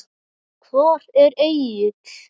Hvar er Egill?